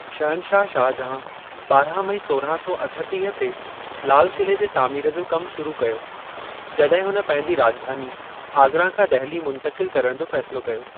शहनशाह शाहजहां ॿारहां मई सोरहां सौ अठटीह ते लाल क़िले जे तामीर जो कमु शुरू कयो, जॾहिं हुन पंहिंजी राॼधानी आगरा खां दहिली मुंतक़िल करण जो फ़ेसिलो कयो।